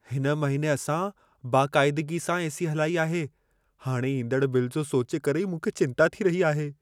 हिन महिने असां बाक़ाइदिगी सां एसी हलाई आहे। हाणे ईंदड़ु बिल जो सोचे करे ई मूंखे चिंता थी रही आहे।